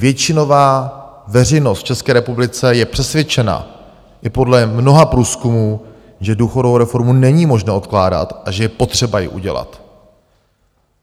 Většinová veřejnost v České republice je přesvědčena i podle mnoha průzkumů, že důchodovou reformu není možné odkládat a že je potřeba ji udělat.